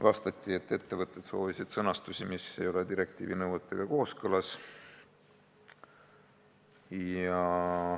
Vastati, et ettevõtted soovisid sõnastust, mis ei ole direktiivi nõuetega kooskõlas.